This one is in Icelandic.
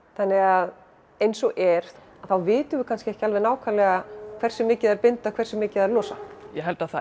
þannig að eins og er þá vitum við kannski ekki alveg nákvæmlega hversu mikið þær binda og hversu mikið þær losa ég held að það